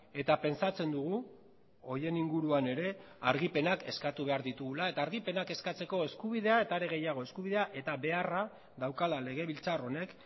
eta pentsatzen dugu horien inguruan ere argipenak eskatu behar ditugula eta argipenak eskatzeko eskubidea eta are gehiago eskubidea eta beharra daukala legebiltzar honek